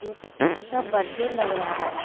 ये तो किसी का बर्थडे लग रहा है।